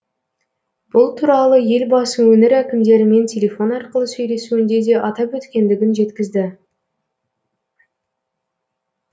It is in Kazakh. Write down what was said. бұл туралы елбасы өңір әкімдерімен телефон арқылы сөйлесуінде де атап өткендігін жеткізді